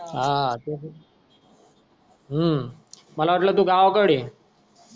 हा हम्म मला वाटल तु गावकडे आहे